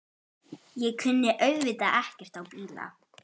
Ég kunni auðvitað ekkert á bíla.